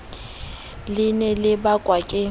le ne le bakwa ke